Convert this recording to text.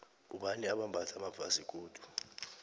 bobani abambatha amafasikodu